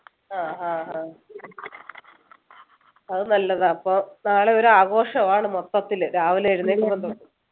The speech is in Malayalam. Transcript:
ആഹ് ആഹ് ആഹ് അത് നല്ലതാ അപ്പൊ നാളെ ഒരു ആഘോഷമാണ് മൊത്തത്തില് രാവിലെ എഴുന്നേൽക്കുമ്പോ തൊട്ട്